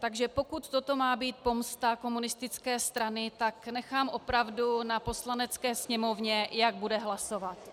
Takže pokud toto má být pomsta komunistické strany, tak nechám opravdu na Poslanecké sněmovně, jak bude hlasovat.